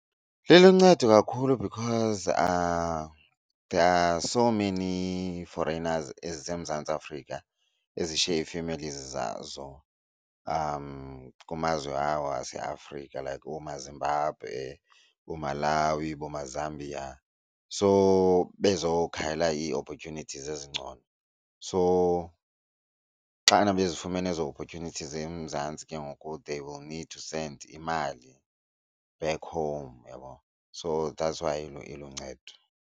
Liluncedo kakhulu because there are so many foreigners eziseMzantsi Afrika ezishiye ii-families zazo kumazwe awo aseAfrika like oomaZimbabwe, kooMalawi, boomaZambia. So bezokhangela ii-opportunities ezingcono. So xana bezifumene ezo opportunities eMzantsi ke ngoku they will need to send imali back home uyabona. So that's why iluncedo.